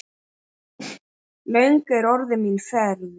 Löng er orðin mín ferð.